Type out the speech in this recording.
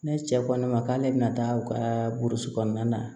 Ne cɛ ko ne ma k'ale bɛna taa u ka burusi kɔnɔna na